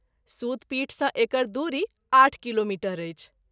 सूत पीठ सँ एकर दूरी आठ किलोमीटर अछि।